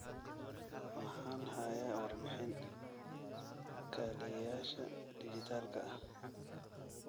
Waxaan hayaa warbixin kaaliyayaasha dhijitaalka ah